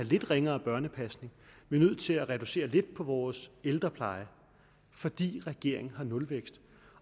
lidt ringere børnepasning vi er nødt til at reducere lidt på vores ældrepleje fordi regeringen har nulvækst